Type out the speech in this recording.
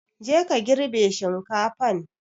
Je ka girbe shinkafan!